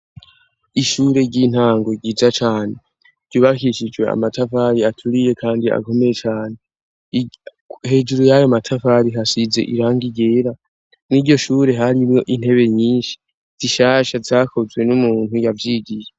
Ishure ry'intango ryiza cane ryubahishijwe amatafali aturiye, kandi agomeye cane hejuru yayo amatavali hasize iranga iyera ni ryo shure harimwo intebe nyinshi zishasha zakozwe n'umuntu yavyigiye.